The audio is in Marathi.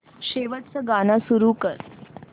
शेवटचं गाणं सुरू कर